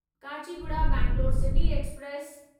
Kachiguda Bangalore city express